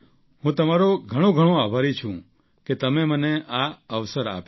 હું તમારો ઘણોઘણો આભારી છું કે તમે મને આ અવસર આપ્યો